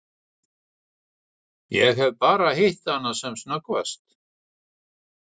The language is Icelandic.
Ég hef bara hitt hana sem snöggvast.